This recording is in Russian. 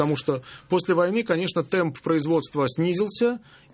потому что после войны конечно темп производства снизился